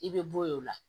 I bɛ bɔ yen o la